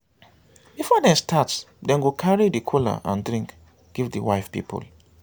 before dem start dem go carry the kola and drinks give di wife pipol